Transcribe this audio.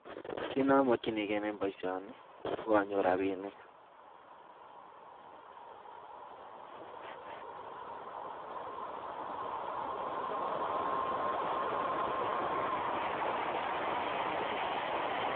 Kit nemakinigei en baishoni koanyor rabinik